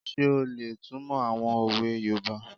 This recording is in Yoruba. Ṣé o lè túnmọ̀ àwọn òwe yoòbá?